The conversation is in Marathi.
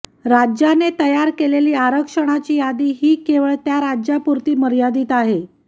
राज्याने तयार केलेली आरक्षणाची यादी ही केवळ त्या राज्यापुरती मर्यादित आहे